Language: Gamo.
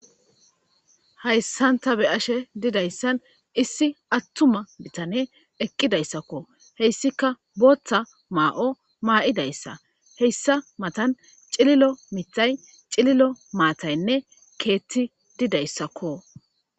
Hayissani ta beyashe dizayissani issi atuma asi eqidayisako, hessikka botha ma'o maidayissa hayissa mattani cililo mithayine cililo matayi dizayissako